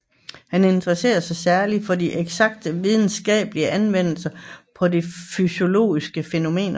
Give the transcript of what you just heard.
Han interesserede sig særligt for de eksakte videnskabers anvendelse på de fysiologiske fænomener